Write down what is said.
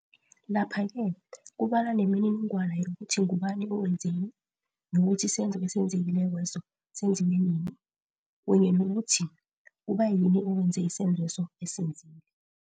Lapha-ke kubalwa nemininingwana yokuthi ngubani owenzeni, nokuthi isenzo esenzekile kweso senziwe nini, kunye nokuthi kubayini owenze isenzweso asenzile.